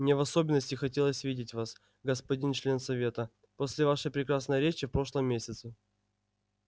мне в особенности хотелось видеть вас господин член совета после вашей прекрасной речи в прошлом месяце